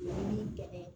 gɛlɛ